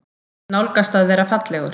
Nálgast að vera fallegur.